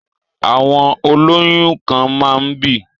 Àwọn olóyún kan máa ń bì